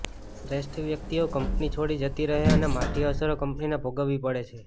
શ્રેષ્ઠ વ્યક્તિઓ કંપની છોડી જતી રહે અને માઠી અસરો કંપનીને ભોગવવી પડે છે